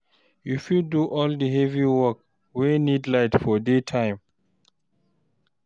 You fit do all di heavy work wey need light for day time